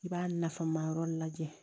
I b'a nafama yɔrɔ lajɛ